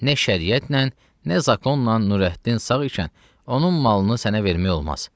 Nə şəriətlə, nə zakonla Nurəddin sağ ikən onun malını sənə vermək olmaz.